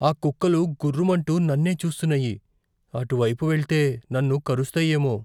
ఆ కుక్కలు గుర్రుమంటూ నన్నే చూస్తున్నాయి. అటు వైపు వెళ్తే నన్ను కరుస్తాయేమో.